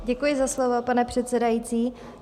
Děkuji za slovo, pane předsedající.